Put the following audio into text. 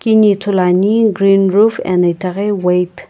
kini ithuluani green roof ena itaghi white .